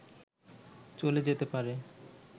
চলে যেতে পারে